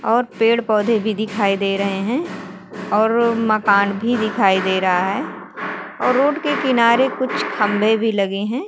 और पेड़-पौधे भी दिखाई दे रहे हैं और मकान भी दिखाई दे रहा है और रोड के किनारे कुछ खंबे भी लगे हैं।